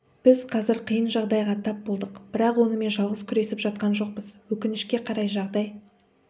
біз қазір қиын жағдайға тап болдық бірақ онымен жалғыз күресіп жатқан жоқпыз өкінішке қарай жағдай